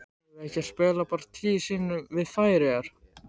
Eigum við ekki að spila bara tíu sinnum við Færeyjar?